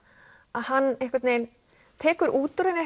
að hann tekur út úr henni